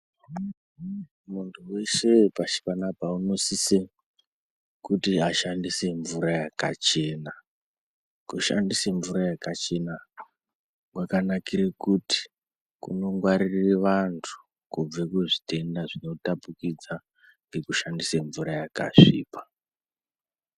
Muntu weshe wepashi panapa unosisa kuti ashandise mvura yakachena . Kushandisa mvura yakachena kwakanakire kuti kunongwarira vantu kubva kuzvitenda zvinotapukidzwa ngekushandise mvura yakasvipa .